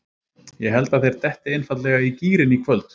Ég held að þeir detti endanlega í gírinn í kvöld.